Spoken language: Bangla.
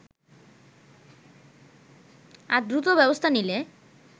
আর দ্রুত ব্যবস্থা নিলে